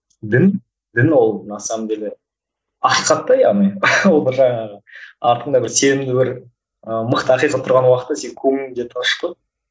дін дін ол на самом деле ақиқат та яғни ол бір жағы артыңда бір сенімді бір ііі мықты ақиқат тұрған уақытта сен көңілің де тыныш қой